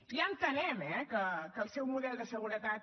ja entenem eh que el seu model de seguretat